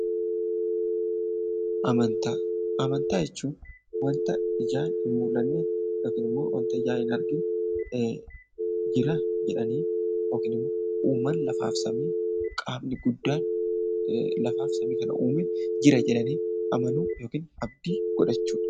Amantaa Amantaa jechuun wanta ijaan hin mul'anne yookiin immoo wanta ijaan hin argine jira jedhanii yookiin immoo uumaan lafaaf samii qaamni guddaan lafaaf samii kana uume jira jedhanii amanuu yookiin abdii godhachuu dha.